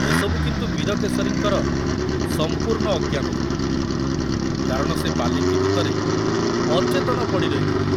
ଏସବୁ କିନ୍ତୁ ବୀରକେଶରୀଙ୍କର ସମ୍ପୂର୍ଣ୍ଣ ଅଜ୍ଞାତ ଥିଲା, କାରଣ ସେ ପାଲିଙ୍କି ଭିତରେ ଅଚେତନ ପଡ଼ି ରହିଥିଲେ।